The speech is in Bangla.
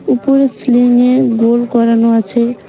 উপরের স্লিঙে গোল করানো আছে।